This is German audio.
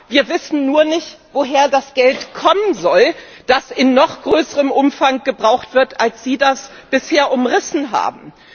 Wir wissen nur nicht, woher das Geld kommen soll, das in noch größerem Umfang gebraucht wird, als Sie das bisher umrissen haben.